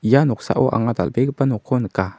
ia noksao anga dal·begipa nokko nika.